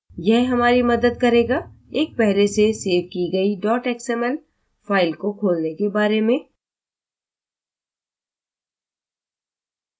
यह हमारी मदद करेगाएक पहले से सेव की गई xml फाइल को खोलने के बारे में